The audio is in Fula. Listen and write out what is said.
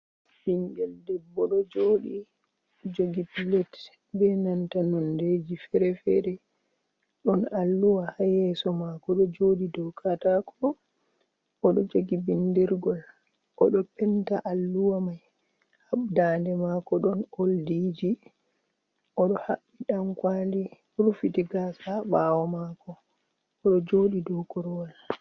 Ɓingel debbo ɗo joɗi jogi pilet be nanta nondeji fere-fere, ɗon alluwa ha yeso mako ɗo joɗi dow kataku, oɗo jogi bindirgol, oɗo penta alluwa mai ha daande mako ɗon oldiji, oɗo haɓɓi dankawli rufiti gasa ha ɓawo mako oɗo joɗi dow korwal.